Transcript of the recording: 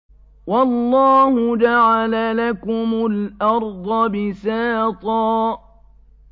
وَاللَّهُ جَعَلَ لَكُمُ الْأَرْضَ بِسَاطًا